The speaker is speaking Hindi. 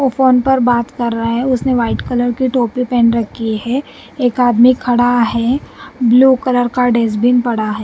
वो फोन पर बात कर रहा है उसने व्हाइट कलर की टोपी पहन रखी है एक आदमी खड़ा है ब्लू कलर का डेसबिन पड़ा है।